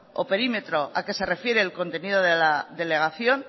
o perímetro al que se refiere el contenido de la delegación